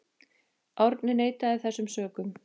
Árni neitaði þessum sökum.